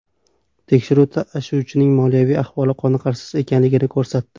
Tekshiruv tashuvchining moliyaviy ahvoli qoniqarsiz ekanligini ko‘rsatdi.